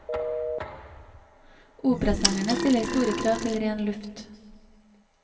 Operasangerne stiller store krav til ren luft.